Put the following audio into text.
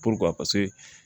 a ka se